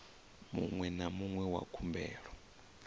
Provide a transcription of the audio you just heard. muṅwe na muṅwe wa khumbelo